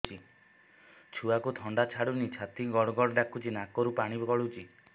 ଛୁଆକୁ ଥଣ୍ଡା ଛାଡୁନି ଛାତି ଗଡ୍ ଗଡ୍ ଡାକୁଚି ନାକରୁ ପାଣି ଗଳୁଚି